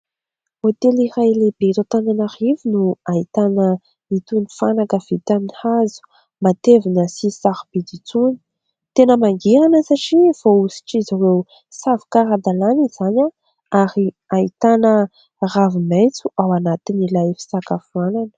Hotely iray lehibe eto Antananarivo no ahitana itony fanaka vita amin'ny hazo matevina sy sarobidy itony. Tena mangirana satria voahosotr'izy ireo savoka ara-dalàna izany ary ahitana ravi-maitso ao anatin'ilay fisakafoanana.